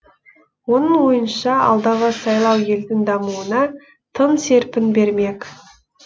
оның ойынша алдағы сайлау елдің дамуына тың серпін бермек